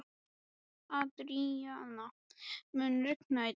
Adríana, mun rigna í dag?